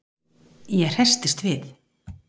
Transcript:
Ég hresstist við.